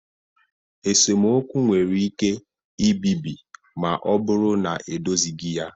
Esemokwu nwere ike ibibi ma ọ bụrụ na edozighị ya